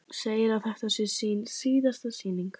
Segir að þetta sé sín síðasta sýning.